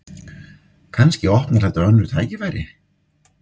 Kannski opnar þetta önnur tækifæri